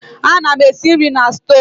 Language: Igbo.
Ana m esi nri na stovu.